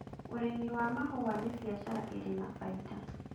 Ũrĩmi wa mahũa nĩ biashara ĩrĩ na baida